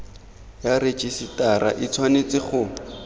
ya rejisetara e tshwanetse go